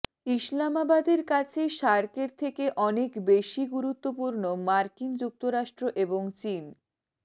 ইসলামাবাদের কাছে সার্কের থেকে অনেক বেশি গুরুত্বপূর্ণ মার্কিন যুক্তরাষ্ট্র এবং চিন